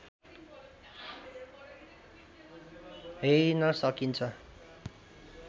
herein सकिन्छ